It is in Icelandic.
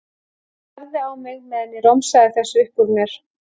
Hann starði á mig meðan ég romsaði þessu upp úr mér.